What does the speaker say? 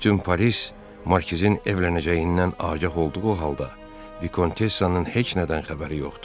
Bütün Paris markizin evlənəcəyindən agah olduğu halda, Vikontessanın heç nədən xəbəri yoxdur.